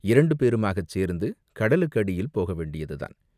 இரண்டு பேருமாகச் சேர்ந்து கடலுக்கு அடியில் போகவேண்டியதுதான்!